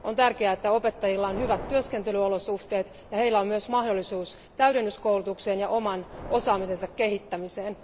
On tärkeää, että opettajilla on hyvät työskentelyolosuhteet ja heillä on myös mahdollisuus täydennyskoulutukseen ja oman osaamisensa kehittämiseen.